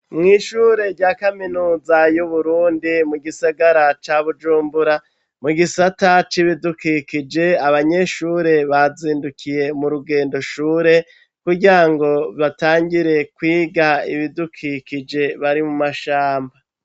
Mw'ishure rya kaminuza y'uburundi mu gisagara cya bujumbura mu gisata c'ibidukikije abanyeshure bazindukiye mu rugendo shure kugira ngo batangire kwiga ibidukikije bari mu mashamba.